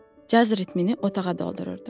Caz ritmini otağa doldururdu.